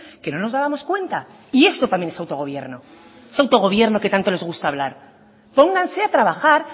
que no nos dábamos cuenta y esto también es autogobierno ese autogobierno que tanto les gusta hablar pónganse a trabajar